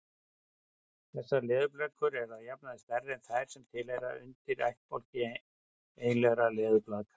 Þessar leðurblökur eru að jafnaði stærri en þær sem tilheyra undirættbálki eiginlegra leðurblaka.